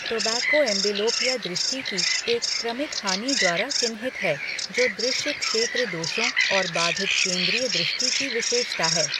Tobacco amblyopia दृष्टि की एक क्रमिक हानि द्वारा चिह्नित है जो दृश्य क्षेत्र दोषों और बाधित केंद्रीय दृष्टि की विशेषता है।